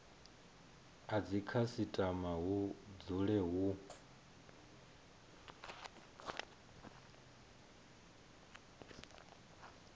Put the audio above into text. a dzikhasitama hu dzule hu